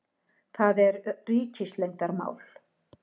Það er. ríkisleyndarmál.